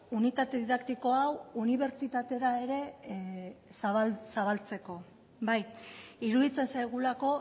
unitate didaktiko hau unibertsitatera ere zabaltzeko bai iruditzen zaigulako